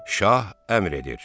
Şah əmr edir: